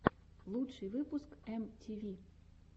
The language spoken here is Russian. лучший выпуск эм ти ви